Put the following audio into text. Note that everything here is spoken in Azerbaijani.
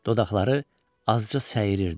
Dodaqları azca səyirirdi.